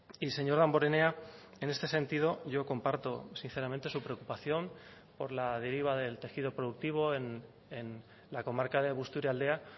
y señor damborenea en este sentido yo comparto sinceramente su preocupación por la deriva del tejido productivo en la comarca de busturialdea